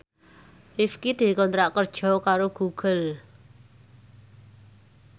Rifqi dikontrak kerja karo Google